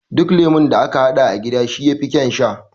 Duk lemo da aka haɗa a gida shi yafi ƙaun sha